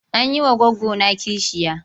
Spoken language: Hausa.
An yi goggona kishiya.